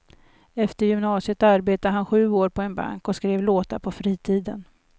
Efter gymnasiet arbetade han sju år på en bank och skrev låtar på fritiden.